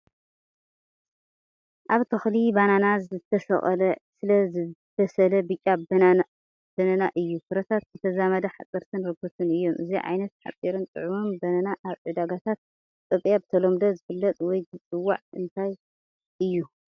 ኣብ ተኽሊ ባናና ዝተሰቕለ ዕስለ ዝበሰለ ብጫ ባናና እዩ። ፍረታት ብተዛማዲ ሓጸርትን ረጒድን እዮም፣ እዚ ዓይነት ሓጺርን ጥዑምን ባናና ኣብ ዕዳጋታት ኢትዮጵያ ብተለምዶ ዝፍለጥ ወይ ዝጽዋዕ እንታይ እዩ?